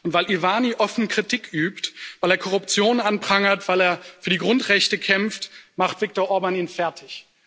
Weil Iványi offen Kritik übt, weil er Korruption anprangert, weil er für die Grundrechte kämpft, macht Viktor Orbán ihn fertig.